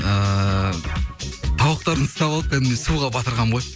ыыы тауықтарын ұстап алып кәдімгідей суға батырғанмын ғой